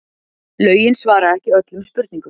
Lögin svara ekki öllum spurningum